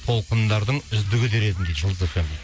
толқындардың үздігі дер едім дейді жұлдыз эф эм ді